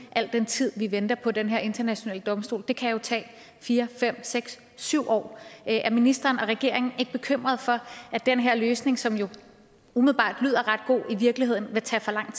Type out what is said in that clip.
al den tid vi venter på den her internationale domstol det kan jo tage fire fem seks syv år er ministeren og regeringen ikke bekymret for at den her løsning som jo umiddelbart lyder ret god i virkeligheden vil tage for lang